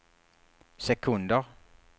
sekunder